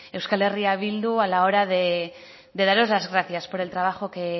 eh bildu a la hora de daros las gracias por el trabajo que